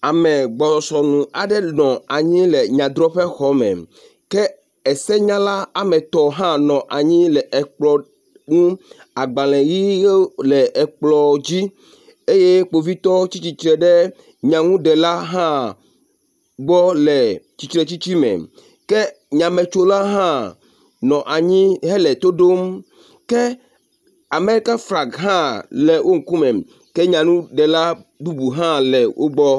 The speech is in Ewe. Ame gbɔ sɔ nu aɖe nɔ anyi le nyadrɔ̃ƒexɔ me ke esenyala woametɔ̃ hã nɔ anyi le ekplɔ nu. Agbalẽ ʋi ʋewo le ekplɔ dzi eye kpovitɔ tsi tsitre ɖe nyanuɖela hã gbɔ le tsitre tsitsime. Ke nyametsola hã nɔ anyi hele to ɖom ke Amerika flagi hã le wo ŋkume. Ke nyanuɖela bubu hã le wo gbɔ.